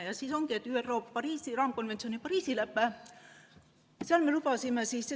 ÜRO-s on vastu võetud kliimamuutuste raamkonventsioon ehk nn Pariisi lepe.